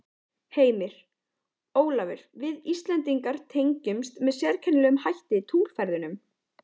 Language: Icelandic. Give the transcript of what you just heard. Heimir: Ólafur við Íslendingar tengjumst með sérkennilegum hætti tunglferðunum?